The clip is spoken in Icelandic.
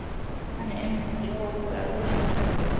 Hann er umkringdur hópi af grímuklæddum